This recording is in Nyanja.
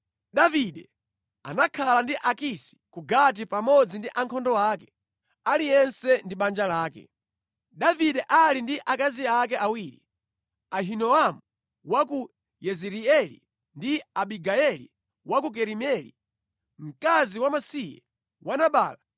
Davide anakhala ndi Akisi ku Gati pamodzi ndi ankhondo ake, aliyense ndi banja lake. Davide ali ndi akazi ake awiri, Ahinoamu wa ku Yezireeli ndi Abigayeli wa ku Karimeli, mkazi wamasiye wa Nabala.